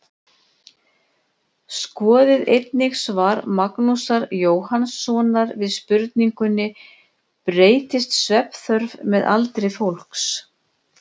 Skoðið einnig svar Magnúsar Jóhannssonar við spurningunni Breytist svefnþörf með aldri fólks?